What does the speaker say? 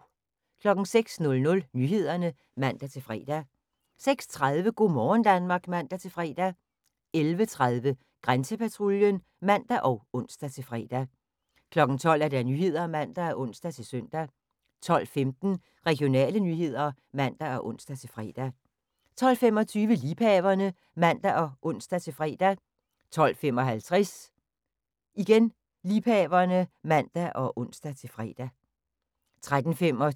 06:00: Nyhederne (man-fre) 06:30: Go' morgen Danmark (man-fre) 11:30: Grænsepatruljen (man og ons-fre) 12:00: Nyhederne (man og ons-søn) 12:15: Regionale nyheder (man og ons-fre) 12:25: Liebhaverne (man og ons-fre) 12:55: Liebhaverne (man og ons-fre) 13:25: